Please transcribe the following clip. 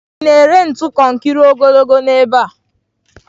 Ị na-ere ntu konkiri ogologo n'ebe a?